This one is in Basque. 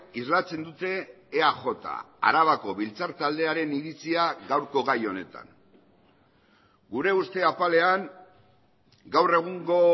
islatzen dute eaj arabako biltzar taldearen iritzia gaurko gai honetan gure uste apalean gaur egungo